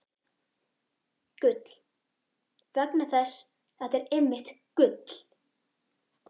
. gull- vegna þess að þetta er einmitt gull!